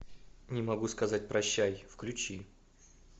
не могу сказать прощай включи